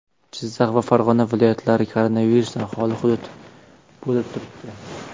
Jizzax va Farg‘ona viloyatlari koronavirusdan xoli hudud bo‘lib turibdi.